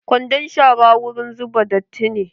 Kwandon shara wurin zuba datti ne.